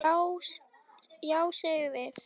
Já, við segjum það.